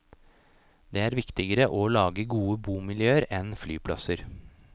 Det er viktigere å lage gode bomiljøer enn flyplasser.